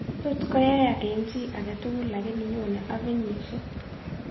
Tot koyaiyak eng' chi aketugul lakini nyone ak kenyisiek